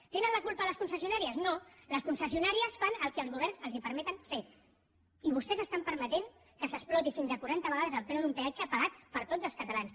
en tenen la culpa les concessionàries no les concessionàries fan el que els governs els permeten fer i vostès permeten que s’exploti fins a quaranta vegades el preu d’un peatge pagat per tots els catalans